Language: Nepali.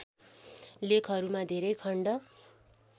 लेखहरूमा धेरै खण्ड